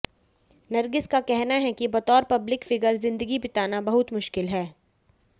नरगिस का कहना है कि बतौर पब्लिक फिगर जिंदगी बिताना बहुत मुश्किल है